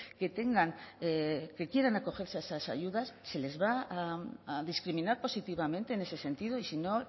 que tengan que quieran acogerse a esas ayudas se les va a discriminar positivamente en ese sentido y si no